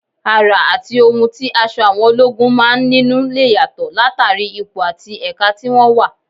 Àrà àti ohun tí aṣọ àwọn ológun máa ń nínú lè yàtọ̀ látàrí ipò àti ẹ̀ka tí wọ́n wà